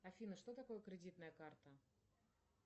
афина что такое кредитная карта